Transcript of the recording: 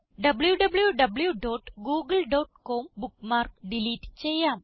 wwwgooglecom bookmark delete ചെയ്യാം